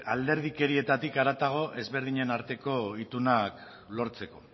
alderdikerietatik haratago ezberdinen arteko itunak lortzeko